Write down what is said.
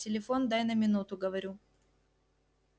телефон дай на минуту говорю